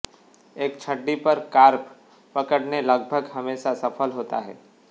एक छड़ी पर कार्प पकड़ने लगभग हमेशा सफल होता है